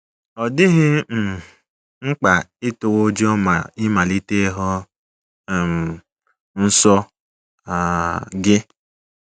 Ọ dịghị um mkpa ịtụwa ụjọ ma ị malite ịhụ um nsọ um gị